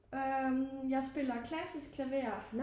Øh jeg spiller klassisk klaver